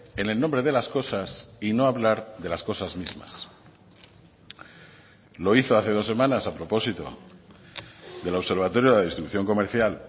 en el nombre de las cosas y no hablar de las cosas mismas lo hizo hace dos semanas a propósito del observatorio de la distribución comercial